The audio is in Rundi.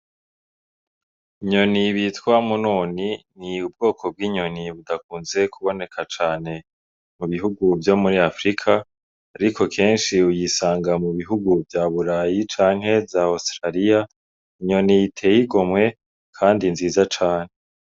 Inyoni bitwa munoni ni ubwoko bw'inyoni budakunze kuboneka cane mu bihugu vyo muri afirika ariko kenshi uyisanga mu bihugu vya burayi canke za osirariya inyoni iteye igomwe kandi nziza cane.